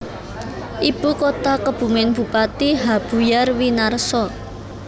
Ibu kota KebumenBupati H Buyar Winarso